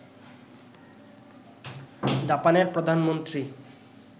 জাপানের প্রধানমন্ত্রী